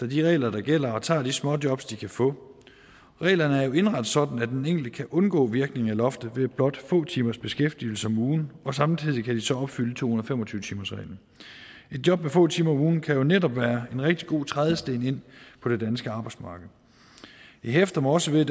de regler der gælder og tager de småjobs de kan få reglerne er jo indrettet sådan at den enkelte kan undgå virkningen af loftet ved blot få timers beskæftigelse om ugen og samtidig kan de så opfylde to hundrede og fem og tyve timersreglen et job med få timer om ugen kan jo netop være en rigtig god trædesten ind på det danske arbejdsmarked jeg hæfter mig også ved